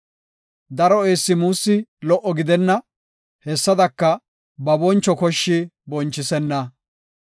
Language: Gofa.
Daro eessi muussi lo77o gidenna; hessadaka, ba boncho koshshi bonchisenna.